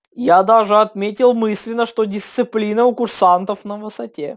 я даже отметил мысленно что дисциплина у курсантов на высоте